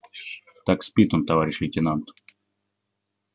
так спит он товарищ лейтенант